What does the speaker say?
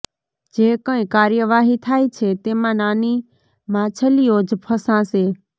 જે કંઇ કાર્યવાહી થાય છે તેમાં નાની માછલીઓ જ ફસાશે